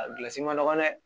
A gilasi ma nɔgɔn dɛ